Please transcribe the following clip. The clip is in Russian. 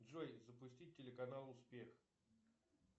джой запустить телеканал успех